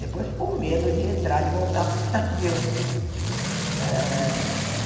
Depois ficou medo de entrar e de voltar para o Brasil né. Eh